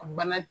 Bana